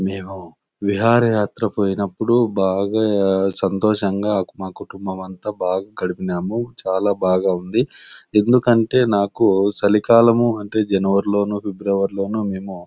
మేము విహార యాత్ర పోయినపుడు బాగా సంతోషం గ మా కుటుంబమంతా బాగా గడిపినాము. చాల బాగా ఉంది. ఎందుకనీతే నాకు చలి కాలము అంటే జనుఅరీ లోను ఫిబ్రవరి లోను మేము--